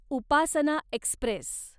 Upasana Express